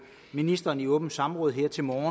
ministeren i åbent samråd her til morgen